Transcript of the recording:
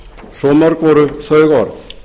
svo mörg voru þau orð